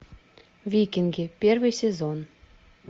викинги первый сезон